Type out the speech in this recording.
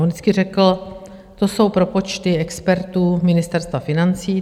On vždycky řekl, že to jsou propočty expertů Ministerstva financí.